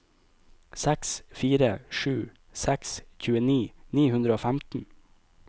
seks fire sju seks tjueni ni hundre og femten